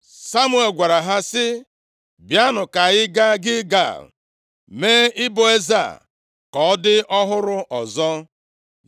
Samuel gwara ha sị, “Bịanụ ka anyị gaa Gilgal mee ịbụ eze a ka ọ dị ọhụrụ ọzọ.”